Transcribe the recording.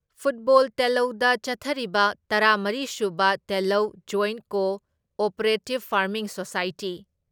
football ꯇꯦꯜꯂꯧꯗ ꯆꯠꯊꯔꯤꯕ ꯇꯔꯥ ꯃꯔꯤ ꯁꯨꯕ ꯇꯦꯜꯂꯧ joint cooperative farming society